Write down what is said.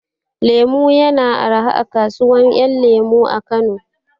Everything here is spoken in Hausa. Lemu ya na arha a kasuwar ƴan lemu a Kano